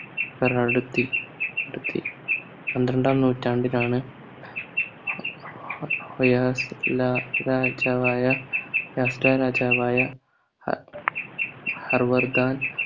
പെറെടുത്തി ടുത്തി പന്ത്രണ്ടാം നൂറ്റാണ്ടിലാണ് ഒ ഒയാസ് ലാ രാജാവായ യാസ്‌ല രാജാവായ അഹ് ഹർവർധാൻ